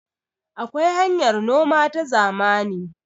akwai hanyar noma ta zamani